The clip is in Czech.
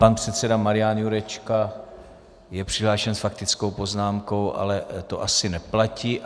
Pan předseda Marian Jurečka je přihlášen s faktickou poznámkou, ale to asi neplatí.